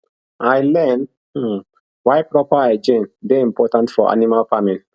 i learn um why proper hygiene dey important for animal farming